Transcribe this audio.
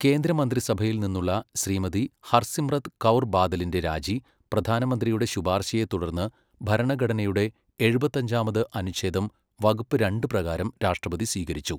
കേന്ദ്രമന്ത്രിസഭയിൽ നിന്നുള്ള ശ്രീമതി ഹർസിമ്രത് കൗർ ബാദലിന്റെ രാജി, പ്രധാനമന്ത്രിയുടെ ശുപാർശയെ തുടർന്ന്, ഭരണഘടനയുടെ എഴുപത്താഞ്ചാമത് അനുഛേദം വകുപ്പ് രണ്ട് പ്രകാരം രാഷ്ട്രപതി സ്വീകരിച്ചു.